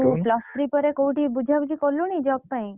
ତୁ plus three ପରେ କୋଉଠି ବୁଝା ବୁଝି କଲୁଣି job ପାଇଁ?